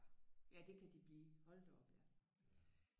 Ja det kan de blive hold da op ja